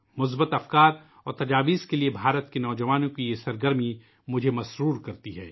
مثبت خیالات اور مشوروں کے لئے بھارت کے نو جوانوں کی یہ سرگرمی مجھے خوش کرتی ہے